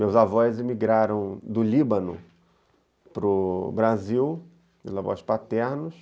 Meus avós emigraram do Líbano para o Brasil, meus avós paternos,